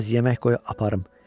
Bir az yemək qoyub aparım.